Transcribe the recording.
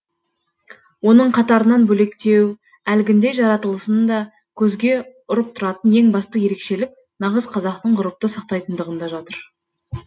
оның қатарынан бөлектеу әлгіндей жаратылысында көзге ұрып тұратын ең басты ерекшелік нағыз қазақтық ғұрыпты сақтайтындығында жатыр